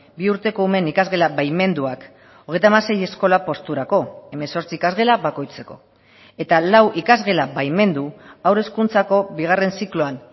bi urteko umeen ikasgela baimenduak hogeita hamasei eskola posturako hemezortzi ikasgela bakoitzeko eta lau ikasgela baimendu haur hezkuntzako bigarren zikloan